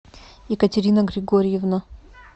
екатерина григорьевна